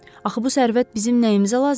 Axı bu sərvət bizim nəyimizə lazımdır?